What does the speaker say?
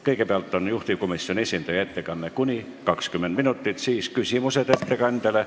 Kõigepealt on juhtivkomisjoni esindaja ettekanne kuni 20 minutit ja siis on küsimused ettekandjale.